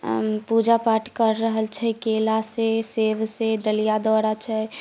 पूजा पाठ कर रहल छे केला सेब सब से डलिया डाला छे।